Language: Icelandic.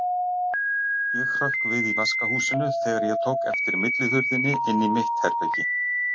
Ég hrökk við í vaskahúsinu þegar ég tók eftir millihurðinni inn í mitt herbergi.